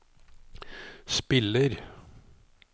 spiller